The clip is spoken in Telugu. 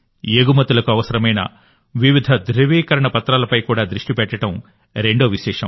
ఎగుమతులకు అవసరమైన వివిధ ధ్రువీకరణ పత్రాలపై కూడా దృష్టి పెట్టడం రెండో విశేషం